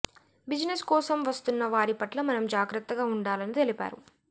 business కోసం వస్తున్న వారి పట్ల మనం జాగ్రత్తగా ఉండాలని తెలిపారు